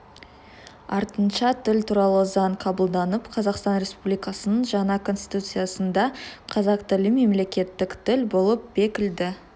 артынша тіл туралы заң қабылданып қазақстан республикасының жаңа конституциясында қазақ тілі мемлекеттік тіл болып бекітілді